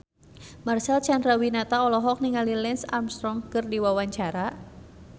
Marcel Chandrawinata olohok ningali Lance Armstrong keur diwawancara